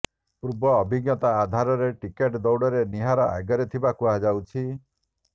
ପୂର୍ବ ଅଭିଜ୍ଞତା ଆଧାରରେ ଟିକେଟ ଦୌଡ଼ରେ ନିହାର ଆଗରେ ଥିବା କୁହାଯାଉଛି